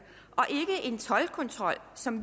er ikke en toldkontrol som